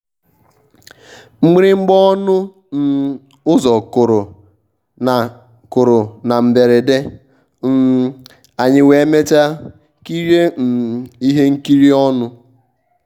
mgbịrịgba ọnụ um ụzọ kụrụ na kụrụ na mberede um anyị wee mechaa kirie um ihe nkiri ọnụ.